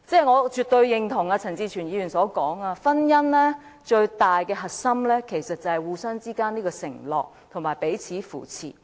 我絕對認同陳志全議員所說，婚姻最重要的核心其實是互相之間的承諾及彼此扶持。